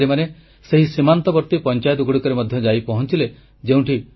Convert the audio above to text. ଏହି ଅଧିକାରୀମାନେ ସେହି ସୀମାନ୍ତବର୍ତ୍ତୀ ପଂଚାୟତଗୁଡ଼ିକରେ ମଧ୍ୟ ଯାଇ ପହଞ୍ଚିଲେ